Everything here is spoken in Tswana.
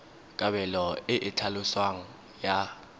kabelo e e tlhaloswang ya